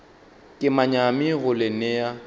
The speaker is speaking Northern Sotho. ke manyami go le nea